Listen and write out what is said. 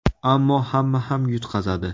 Ammo hamma ham yutqazadi.